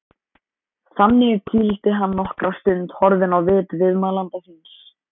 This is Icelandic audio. Þannig hvíldi hann nokkra stund horfinn á vit viðmælanda síns.